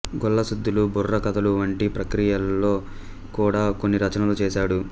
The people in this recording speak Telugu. గొల్లసుద్దులు బుర్రకథలు వంటి ప్రక్రియలలో కూడా కొన్ని రచనలు చేశాడు